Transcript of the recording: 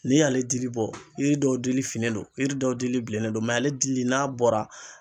N'i y'ale dili bɔ yiri dɔw dili finnen don, yiri dɔw dili bilennen don, ale dili n'a bɔra